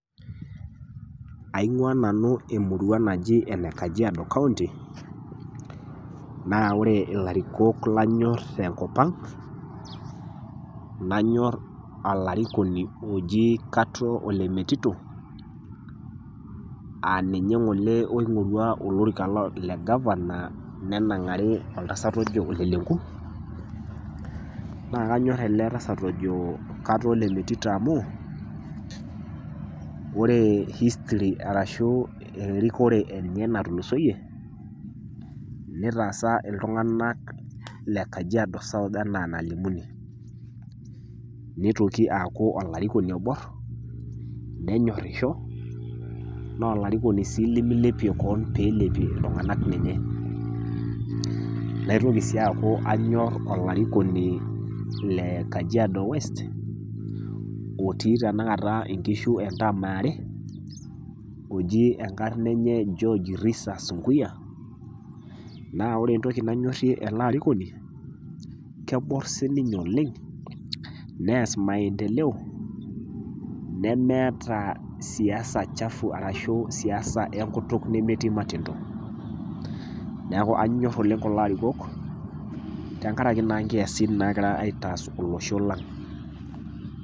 Aingua nanu emurua naji ene kajiado kaunti, naa wore ilarikok lanyorr tenkop ang', anyorr olarikoni oji katoo ole metito, aa ninye ng'ole oingorua olorika legavana nenangari oltasat ojo ole Lenku, naa kanyor ele tasat ojo katoo ole metito amu , wore history arashu erikore enye natulusoyie, nitaasa iltunganak le kajiado south enaa enalimuni. Nitoki aaku olarikoni oborr, nenyorrisho, naa olarikoni sii limilepie keon pee ilepie iltunganak ninye. Naitoki sii aaku anyorr olarikoni le kajiado west otii tenakata inkishu entaam eare, oji enkarna enye George Risa Sunkuyia. Naa wore entoki nanyorrie ele arikoni, keborr sininye oleng', neass maendeleo nemeeta siasa chafu arashu siasa enkutuk nemetii matendo. Neeku anyorr oleng' kulo arikok, tenkaraki naa inkiasin naakira aitass olosho lang.